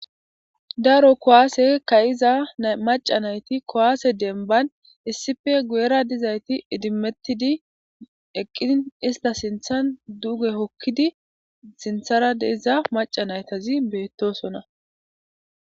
Daro kuwaase kayiza maca nayti kuwaase denban issippe guyera dizayti idimettidi eqqiin ista sinthan duge hokkidi sinthara de'iza maca naytazi beettosona.